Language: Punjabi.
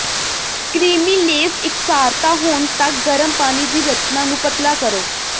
ਕ੍ਰੀਮੀਲੇਸ ਇਕਸਾਰਤਾ ਹੋਣ ਤੱਕ ਗਰਮ ਪਾਣੀ ਦੀ ਰਚਨਾ ਨੂੰ ਪਤਲਾ ਕਰੋ